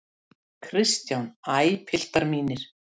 KRISTJÁN: Æ, piltar mínir!